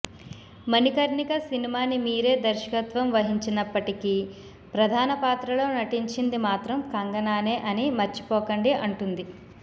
మణికర్ణిక సినిమాని మీరే దర్శకత్వం వహించినప్పటికి ప్రధాన పాత్రలో నటించింది మాత్రం కంగనానే అని మర్చిపోకండి అంటుంది